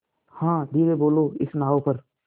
हाँ धीरे बोलो इस नाव पर